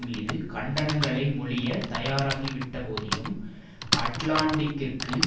மீது கண்டனங்களைப் பொழிய தயாராகி விட்ட போதினும் அட்லாண்டிக்கிற்கு